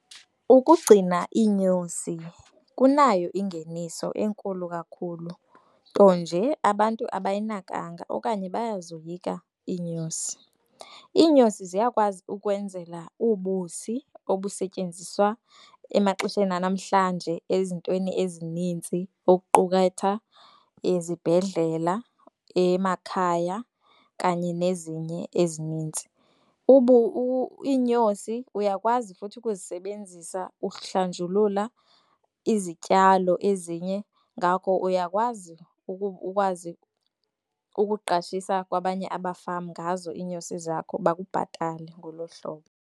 Ukugcina iinyosi kunayo ingeniso enkulu kakhulu nto nje abantu abayinakanga okanye bayazoyika iinyosi. Iinyosi ziyakwazi ukwenzela ubusi obusetyenziswa emaxesheni anamhlanje ezintweni ezininzi okuquketha ezibhedlela, emakhaya kanye nezinye ezinintsi. Iinyosi uyakwazi futhi ukuzisebenzisa uhlanjulula izityalo ezinye. Ngakho uyakwazi ukwazi ukuqashisa kwabanye abafama ngazo iinyosi zakho bakubhatale ngoloo hlobo.